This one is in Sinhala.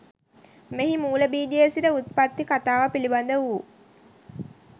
මෙහි මූල බීජයේ සිට උප්පත්ති කතාව පිළිබඳ වූ